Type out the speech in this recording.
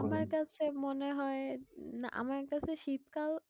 আমার কাছে মনে হয় আমার কাছে শীত কাল